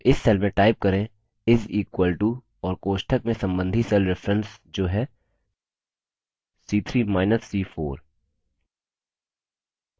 अब इस cell में type करें = और कोष्ठक में सम्बन्धी cell references जो है c3 minus c4